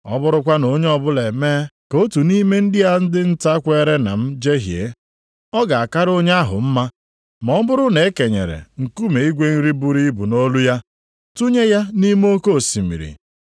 “Ọ bụrụkwa na onye ọbụla emee ka otu nʼime ndị a dị nta kweere na m jehie, ọ ga-akara onye ahụ mma ma ọ bụrụ na e kenyere nkume igwe nri buru ibu nʼolu ya, tụnye ya nʼime oke osimiri.